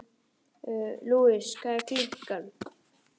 Gekk þá Þórdís fram og til